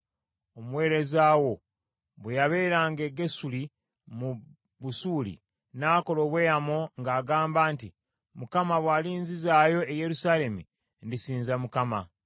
Omuweereza wo bwe yabeeranga e Gesuli mu Busuuli, nakola obweyamo nga ŋŋamba nti, ‘ Mukama bw’alinzizaayo e Yerusaalemi, ndisinza Mukama .’”